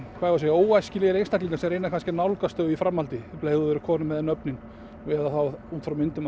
óæskilegir einstaklingar sem reyna að nálgast þau í framhaldinu um leið og þeir eru komnir með nöfnin eða þá út frá myndum